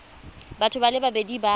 batho ba le babedi ba